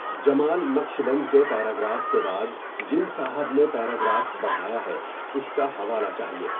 جمال نقشبند کے پیراگراف کے بعد جن صاحب نے پیراگراف بڑھایا ہے اس کا حوالہ چاہیٮٔے.